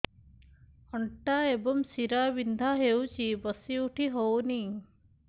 ଅଣ୍ଟା ଏବଂ ଶୀରା ବିନ୍ଧା ହେଉଛି ବସି ଉଠି ହଉନି